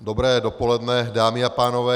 Dobré dopoledne, dámy a pánové.